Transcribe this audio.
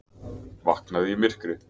Vaknaði í myrkri